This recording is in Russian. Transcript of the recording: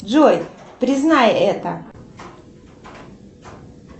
джой признай это